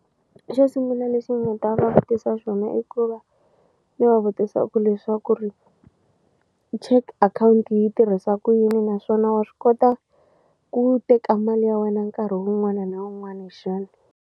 Xo sungula lexi ni nga ta va vutisa swona i ku va ni va vutisa ku leswaku ri check akhawunti yi tirhisa ku yini naswona wa swi kota ku teka mali ya wena nkarhi wun'wani na wun'wani xana.